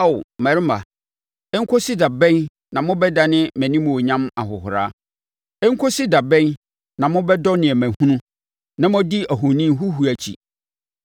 Ao mmarima, ɛnkɔsi da bɛn na mo bɛdane mʼanimuonyam ahohora? Ɛnkɔsi da bɛn na mobɛdɔ nneɛma hunu na moadi ahoni huhuo akyi?